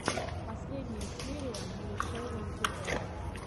последняя серия малышерин тв